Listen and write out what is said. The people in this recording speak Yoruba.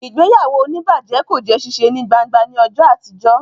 Ìgbéyàwó onibaje kò jé ṣiṣe ní gbángba ní ọjọ àtijọ